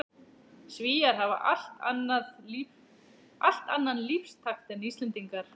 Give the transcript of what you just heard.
Svíar hafa allt annan lífstakt en Íslendingar.